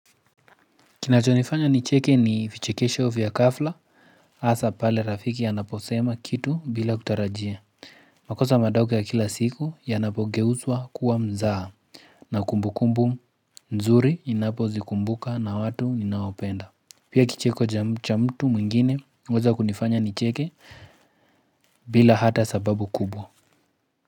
Kinacho nifanya nicheke ni vichekesho vya gafla asa pale rafiki anaposema kitu bila kutarajia makosa madogo ya kila siku ya napogeuswa kuwa mzaha na kumbu kumbu nzuri inapo zikumbuka na watu inaopenda Pia kicheko cha mtu mungine uweza kunifanya nicheke bila hata sababu kubwa.